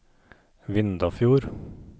Vindafjord